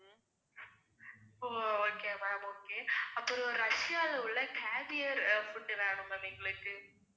ஓ okay ma'am okay அப்புறம் ரஷ்யால உள்ள cavier food வேணும் ma'am எங்களுக்கு.